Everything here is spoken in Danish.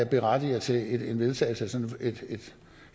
berettiger til en vedtagelse af sådan et et